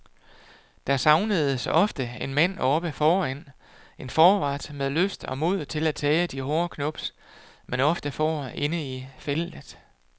Der savnedes ofte en mand oppe foran, en forward med lyst og mod til at tage de hårde knubs, man ofte får inde i feltet.